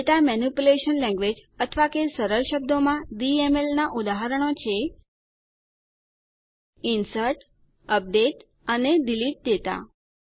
data manipulation language અથવા કે સરળ શબ્દોમાં ડીએમએલ નાં ઉદાહરણો છે ઇન્સર્ટ અપડેટ અને ડિલીટ ડેટા